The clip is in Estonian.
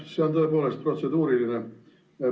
See on tõepoolest protseduuriline.